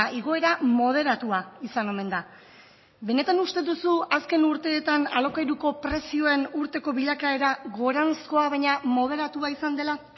igoera moderatua izan omen da benetan uste duzu azken urteetan alokairuko prezioen urteko bilakaera goranzkoa baina moderatua izan dela